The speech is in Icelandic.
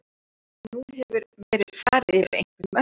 Veit að nú hefur verið farið yfir einhver mörk.